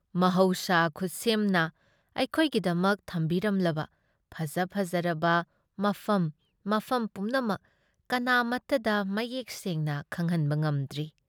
ꯃꯍꯧꯁꯥ ꯈꯨꯠꯁꯦꯝꯅ ꯑꯩꯈꯣꯏꯒꯤꯗꯃꯛ ꯊꯝꯕꯤꯔꯝꯂꯕ ꯐꯖ-ꯐꯖꯔꯕ ꯃꯐꯝ ꯃꯐꯝ ꯄꯨꯝꯅꯃꯛ ꯀꯅꯥꯃꯠꯇꯗ ꯃꯌꯦꯛ ꯁꯦꯡꯅ ꯈꯪꯍꯟꯕ ꯉꯝꯗ꯭ꯔꯤ ꯫